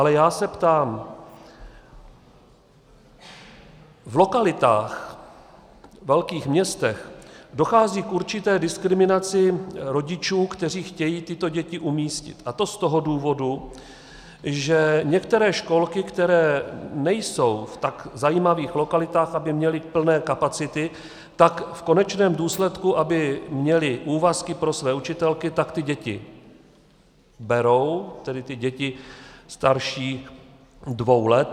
Ale já se ptám, v lokalitách, ve velkých městech dochází k určité diskriminaci rodičů, kteří chtějí tyto děti umístit, a to z toho důvodu, že některé školky, které nejsou v tak zajímavých lokalitách, aby měly plné kapacity, tak v konečném důsledku, aby měly úvazky pro své učitelky, tak ty děti berou, tedy ty děti starší dvou let.